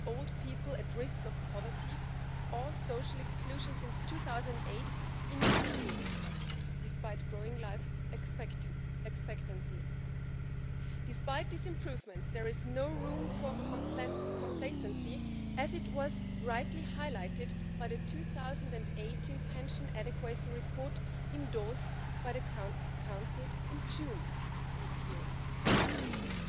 In der Verwirklichung liegt dieses Thema aber in der nationalen Kompetenz, und das ist auch gut so. Ich teile diese Haltung in der Aufteilung der Kompetenzen. Die Zukunft der Pensionen soll, so, wie sie konzipiert ist, auf drei Säulen beruhen. Die erste Säule der gesetzlichen Pensionen soll weiterhin Priorität haben, wie in Österreich erfolgt die stabile Alterssicherung zum Großteil über die gesetzlichen Pensionen.